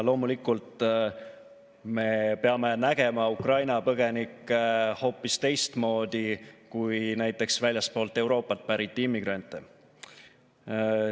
Loomulikult me peame nägema Ukraina põgenikke hoopis teistmoodi kui näiteks väljastpoolt Euroopat pärit immigrante.